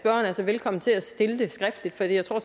altså velkommen til at stille dem skriftligt for jeg tror